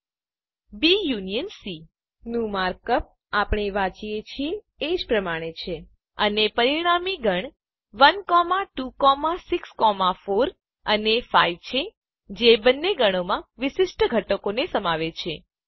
બી union C B union C નું mark up આપણે વાંચીએ છીએ એ પ્રમાણે જ છે અને પરિણામી ગણ 1 2 6 4 અને 5 છે જે બંને ગણોમાં વિશિષ્ટ ઘટકોને સમાવે છે